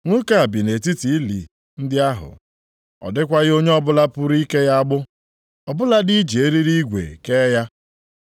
Nwoke a bi nʼetiti ili ndị ahụ. Ọ dịkwaghị onye ọbụla pụrụ ike ya agbụ, ọ bụladị iji eriri igwe kee ya.